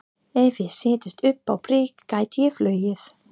Á þeim hefur látlaust verið barið í nafni grasrótarlýðræðis.